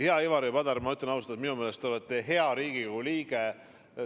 Hea Ivari Padar, ma ütlen ausalt, et minu meelest te olete hea Riigikogu liige.